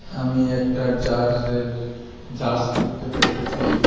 আমি একটা জাজের জাজ দেখতে পাইতেসি।